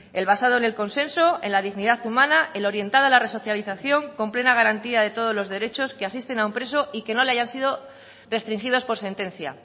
el basado en el consenso en la dignidad humana el orientada a la resocialización con plena garantía de todos los derechos que asisten a un preso y que no le hayan sido restringidos por sentencia